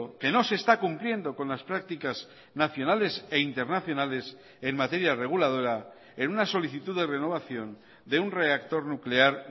que no se está cumpliendo con las prácticas nacionales e internacionales en materia reguladora en una solicitud de renovación de un reactor nuclear